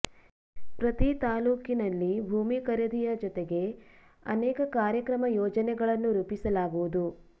ಪ್ರತೀ ತಾಲೂಕಿನಲ್ಲಿ ಭೂಮಿ ಖರೀದಿಯ ಜತೆಗೆ ಅನೇಕ ಕಾರ್ಯಕ್ರಮ ಯೋಜನೆಗಳನ್ನು ರೂಪಿಸಲಾಗುವುದು